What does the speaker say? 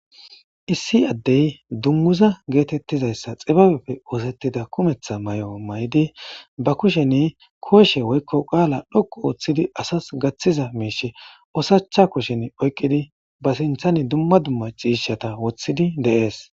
issi addey dummuza geetettizayssa xibabepfe oosettida kumeththa may7o may7idi ba kushen kooshe woykko qaala dhoqu ooththidi asas gaththiza miishe osacha kushen oyqqidi ba sinthan dumma dumma ciishata woththidi deees